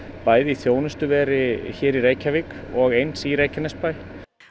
bæði í þjónustuveri hér í Reykjavík og eins í Reykjanesbæ